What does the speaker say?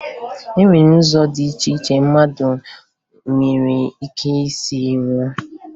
E nwere ụzọ dị iche iche mmadụ nwere ike isi nwụọ